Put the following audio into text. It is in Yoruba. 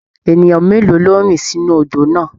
Ènìyàn mélòó ló rì sínú odò náà?